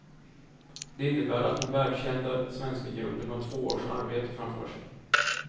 Det innebär att den världskända svenska gruppen har två års arbete framför sig.